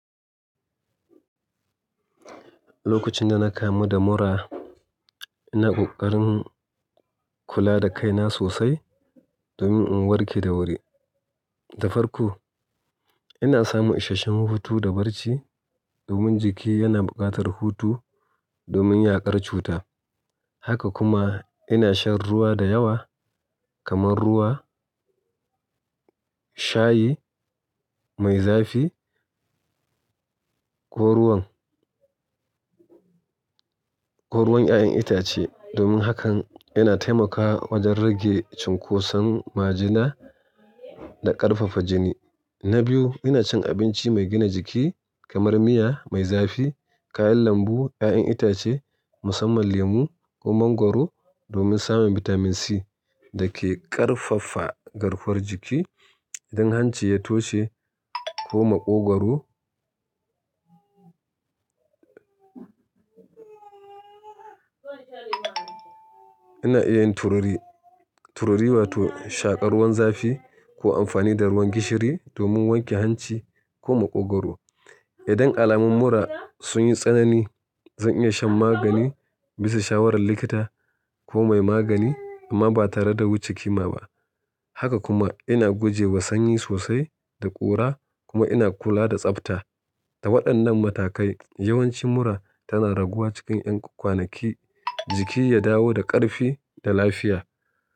Lokacin da na kamu da mura, ina ƙoƙarin kula da kaina sosai domin in warke da wuri. Da farko, ina samun isasshen hutu da barci domin jiki yana buƙatar hutu domin yaƙar cuta. Haka kuma ina shan ruwa da yawa kamar ruwa, shayi mai zafi, ko ruwan, ko ruwan 'ya'yan itace domin hakan yana taimakawa wajen rage cunkoson majina da ƙarfafa jini. Na biyu, ina cin abinci mai gina jiki kamar miya mai zafi, kayan lambu, 'ya'yan itace musamman lemu ko mangwaro domin samun bitamin C da ke ƙarfafa garkuwar jiki. Idan hanci ya toshe ko maƙwagoro ina iya yin tururi, tururi wato shaƙar ruwan zafi ko amfani da ruwan gishiri domin wanke hanci ko maƙwagoro. Idan alamun mura sun yi tsanani, zan iya shan magani bisa shawarar likita ko mai magani amma ba tare da wuce kima ba. Haka kuma ina guje wa sanyi sosai da ƙura kuma ina kula da tsafta. Da waɗannan matakai, yawanci mura tana raguwa cikin 'yan kwanaki, jiki ya dawo da ƙarfi da lafiya.